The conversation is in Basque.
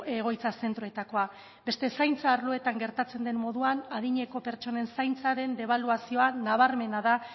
egoitza zentroetakoa beste zaintza arloetan gertatzen den moduan adineko pertsonen zaintza den debaluazioa nabarmena da